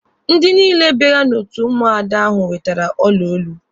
Ndị niile bịara n'otu Ụmụada ahụ nwetere ọla olu.